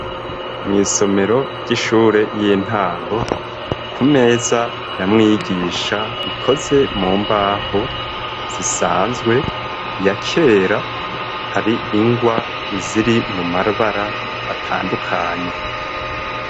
Mw'isomero ry'ishure y'intango ,ku meza ya mwigisha ikoze mu mbaho zisanzwe ya kera, hari ingwa ziri mu mabara atandukanye.